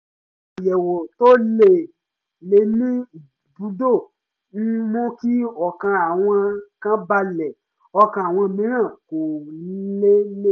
àwọn àyẹ̀wò to lé lẹ̀ ní ìbùdó ń mú kí ọkàn àwọn kan balẹ̀ ọkàn àwọn mìíràn kò lélẹ̀